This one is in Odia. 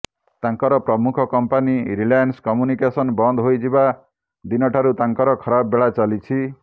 ତାଙ୍କର ପ୍ରମୁଖ କଂପାନି ରିଲାଏନ୍ସ କମ୍ୟୁନିକେସନ ବନ୍ଦ ହୋଇଯିବା ଦିନଠାରୁ ତାଙ୍କର ଖରାପ ବେଳା ଚାଲିଛି